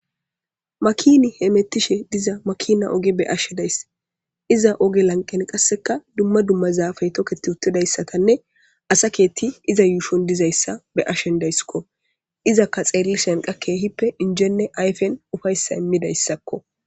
makini he mettishe diza makina oge be ashe dayss iza oge lanqen qasseka dumma dummazafey toketi uttidayssatanne asa keetti iza yuushon dizayssa be ashen dayssikko izaka xeellishen qakke hippe injenne ayfen ufayssa immidayssakko